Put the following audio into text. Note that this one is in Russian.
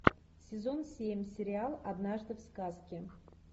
сезон семь сериал однажды в сказке